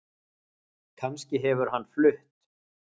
Kannski hefur hann flutt